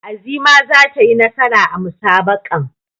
Azima za ta yi nasara a musabaqahn.